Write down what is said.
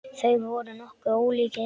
Þeir voru nokkuð ólíkir.